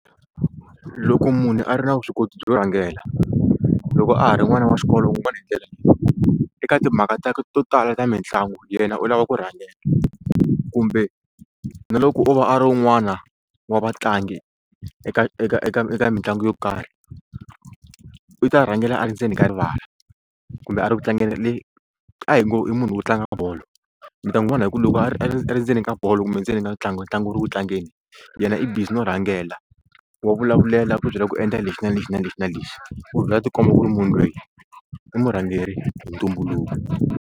Loko munhu a ri na vuswikoti byo rhangela loko a ha ri n'wana wa xikolo u n'wi vona hi ndlela leyi eka timhaka ta to tala ta mitlangu yena u lava ku rhangela kumbe na loko o va a ri un'wana wa vatlangi eka eka eka eka mitlangu yo karhi u ta rhangela a ri ndzeni ka rivala kumbe a ri ku tlangela leyi a hi ngo i munhu wo tlanga bolo mi ta n'wi vona hi ku loko a ri a ri a ri ndzeni ka bolo kumbe endzeni ka ntlangu ntlangu wu ri ku tlangeni yena i busy no rhangela wa vulavulela ku byela ku endla lexi na lexi na lexi na lexi ku vhela tikomba ku ri munhu loyi i murhangeri hi ntumbuluko.